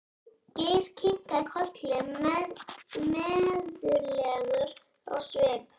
Geir kinkaði kolli mæðulegur á svip.